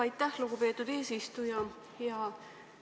Aitäh, lugupeetud eesistuja!